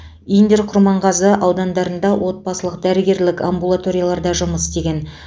индер құрманғазы аудандарында отбасылық дәрігерлік амбулаторияларда жұмыс істеген